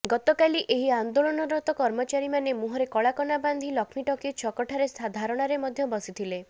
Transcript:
ଗତକାଲି ଏହି ଆନ୍ଦୋଳନରତ କର୍ମଚାରୀମାନେ ମୁହଁରେ କଳାକନା ବାନ୍ଧି ଲକ୍ଷ୍ମୀଟକିଜ ଛକଠାରେ ଧାରଣାରେ ମଧ୍ୟ ବସିଥିଲେ